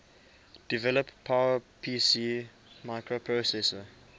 develop powerpc microprocessor